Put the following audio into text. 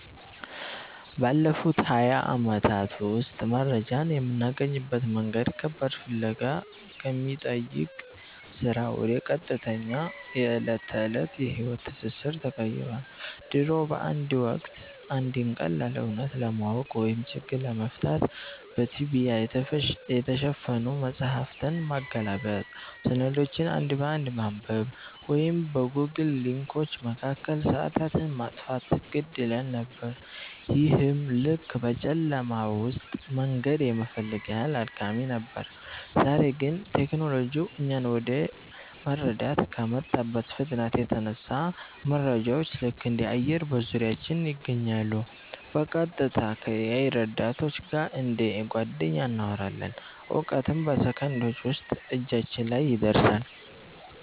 ባለፉት ሃያ ዓመታት ውስጥ መረጃን የምናገኝበት መንገድ ከባድ ፍለጋ ከሚጠይቅ ሥራ ወደ ቀጥተኛ የዕለት ተዕለት የሕይወት ትስስር ተቀይሯል። ድሮ በአንድ ወቅት፣ አንድን ቀላል እውነት ለማወቅ ወይም ችግር ለመፍታት በትቢያ የተሸፈኑ መጻሕፍትን ማገላበጥ፣ ሰነዶችን አንድ በአንድ ማንበብ ወይም በጎግል ሊንኮች መካከል ሰዓታትን ማጥፋት ግድ ይለን ነበር፤ ይህም ልክ በጨለማ ውስጥ መንገድ የመፈለግ ያህል አድካሚ ነበር። ዛሬ ግን ቴክኖሎጂው እኛን ወደ መረዳት ከመጣበት ፍጥነት የተነሳ፣ መረጃዎች ልክ እንደ አየር በዙሪያችን ይገኛሉ—በቀጥታ ከ-AI ረዳቶች ጋር እንደ ጓደኛ እናወራለን፣ እውቀትም በሰከንዶች ውስጥ እጃችን ላይ ይደርሳል።